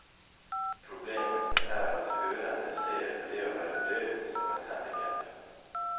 Problemet er at hørende ser på det å være døv som et handicap.